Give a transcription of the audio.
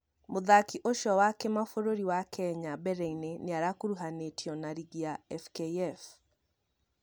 Mũthaki ũcio wa kĩmabũrũri wa Kenya mbereĩnĩ nĩarakũruhanĩtio na rigi ya FKF